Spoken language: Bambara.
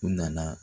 U nana